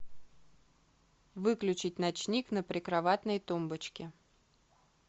выключить ночник на прикроватной тумбочке